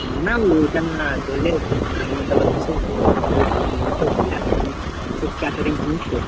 না না ঐটা না ধরলে খাবার দাবার তো সেই ধরলে দিতে হয়। তো দেওয়াটা সেই catering জিনিসতো?